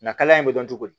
Nka kaliya in bɛ dɔn cogo di